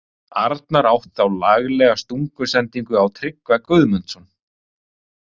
Arnar átt þá laglega stungusendingu á Tryggva Guðmundsson.